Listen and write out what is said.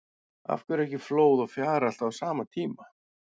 Af hverju er ekki flóð og fjara alltaf á sama tíma?